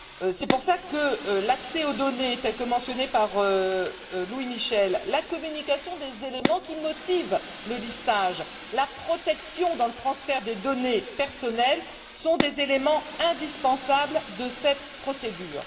C'est pour cela que l'accès aux données tel que mentionné par Louis Michel, la communication des éléments qui motivent le listage, la protection dans le transfert des données personnelles, sont des éléments indispensables de cette procédure.